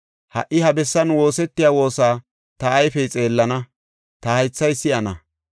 Ha77i ha bessan woosetiya woosa ta ayfey xeellana; ta haythay si7ana.